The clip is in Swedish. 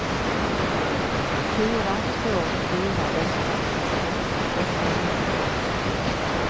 fyra två fyra åtta trettioåtta åttahundrafemtiotvå